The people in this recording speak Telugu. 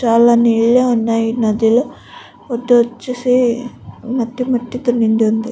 చాలా నీళ్ళు ఉన్నాయి నదిలో వచ్చేసి మట్టి మట్టితో నిండివుంది.